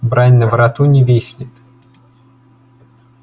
брань на вороту не виснет